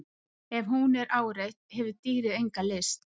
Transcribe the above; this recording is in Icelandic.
Ef hún er áreitt hefur dýrið enga lyst.